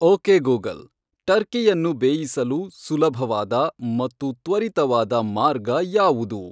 okay Google ಟರ್ಕಿಯನ್ನು ಬೇಯಿಸಲು ಸುಲಭವಾದ ಮತ್ತು ತ್ವರಿತವಾದ ಮಾರ್ಗ ಯಾವುದು